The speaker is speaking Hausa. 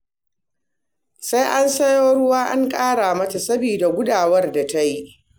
Sai an sayo ruwa an ƙara mata saboda gudawar da ta yi